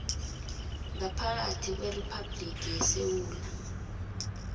ngaphakathi kweriphabhligi yesewula